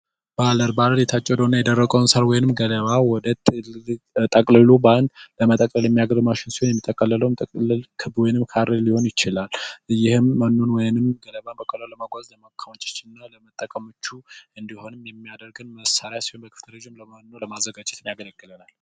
ባለር የታጨቀውን የደረቀውን ሣር ወይም ገደማ ወደ ትልቅ ጠቅልሎ በአንድ ለመጠቀም የሚያገለግል ማሽን ሲሆን፤ የሚተከለው ጥቅልል ክብ ወይም ካሬ ሊሆን ይችላል። ይህም መኖ ወይንም ገለባ ለመጓዝ በማከማቸትና ለመጠቀም ምቹ እንዲሆን የሚያደርግ መሳሪያ ሲሆን ፤ በቀጣይም መኖ ለማዘጋጀት ያገለግላል።